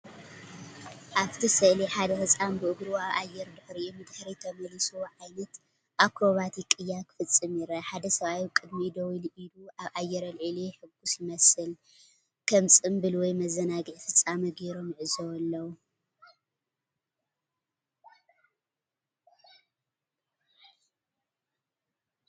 ኣብቲ ስእሊ ሓደ ህጻን ብእግሩ ኣብ ኣየር ድሕሪኡ ንድሕሪት ተመሊሱ ዓይነት ኣክሮባቲክ ቅያ ክፍጽም ይርአ። ሓደ ሰብኣይ ኣብ ቅድሚኡ ደው ኢሉ ኢዱ ኣብ ኣየር ኣልዒሉ የሐጉሶ ይመስል። ከም ጽምብል ወይ መዘናግዒ ፍጻመ ጌሮም ይዕዘቡ ኣለዉ።